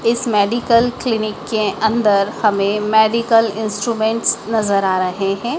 इस medical clinic के अंदर हमें मेडिकल इंस्ट्रूमेंट नजर आ रहे हैं।